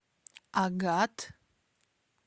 агат